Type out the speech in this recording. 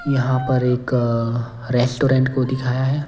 यहाँ पर एक रेस्टोरेंट को दिखाया है।